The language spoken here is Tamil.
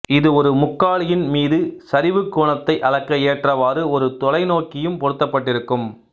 இது ஒரு முக்காலியின் மீது சரிவு கோணத்தை அளக்க ஏற்றவாறு ஒரு தொலைநோக்கியும் பொருத்தப்பட்டிருக்கும்